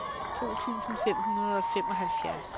to tusind fem hundrede og femoghalvfjerds